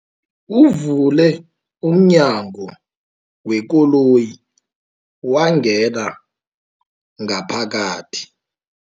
Uvule umnyango wekoloyi wangena ngaphakathi.